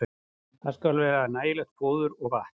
Þar skal vera nægilegt fóður og vatn.